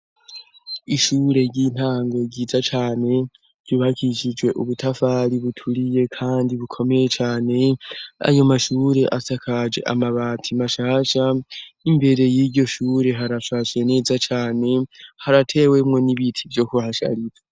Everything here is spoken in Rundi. Ishure ry'intango ryiza cane ryubakishijwe ubutafari buturiye, kandi bukomeye cane anyumashure asakaje amabati mashasha imbere y'iryo shure harashashe neza cane haratewemwo n'ibiti vyo kuhasharira.